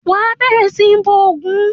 Wà á bẹ̀rẹ̀ sí ní bọ ògún!